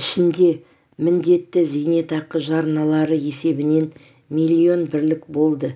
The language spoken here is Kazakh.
ішінде міндетті зейнетақы жарналары есебінен млн бірлік болды